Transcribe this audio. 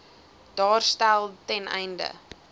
daarstel ten einde